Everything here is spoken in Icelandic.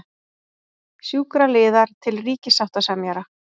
Sjúkraliðar til ríkissáttasemjara